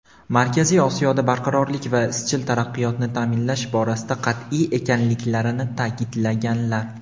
Markaziy Osiyoda barqarorlik va izchil taraqqiyotni ta’minlash borasida qat’iy ekanliklarini ta’kidlaganlar.